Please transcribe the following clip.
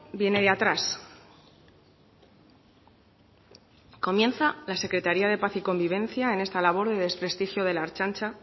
viene de atrás comienza la secretaría de paz y convivencia en esta labor de desprestigio de la ertzaintza